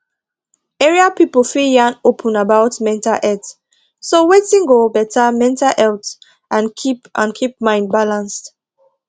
area people fit yan open about mental health so wetin go better mental health and keep and keep mind balanced